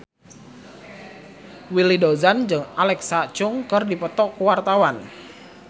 Willy Dozan jeung Alexa Chung keur dipoto ku wartawan